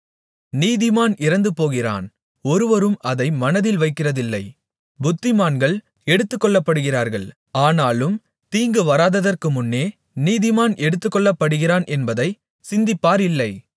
நீதிமான் இறந்துபோகிறான் ஒருவரும் அதை மனதில் வைக்கிறதில்லை புத்திமான்கள் எடுத்துக்கொள்ளப்படுகிறார்கள் ஆனாலும் தீங்குவராததற்குமுன்னே நீதிமான் எடுத்துக்கொள்ளப்படுகிறான் என்பதைச் சிந்திப்பார் இல்லை